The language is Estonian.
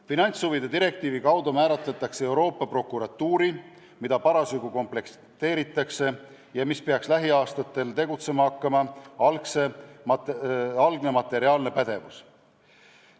Finantshuvide direktiivi kaudu määratakse kindlaks Euroopa Prokuratuuri, mida parasjagu komplekteeritakse ja mis peaks tegutsema hakkama lähiaastatel, algne materiaalne pädevus.